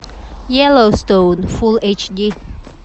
йеллоустоун фулл эйч ди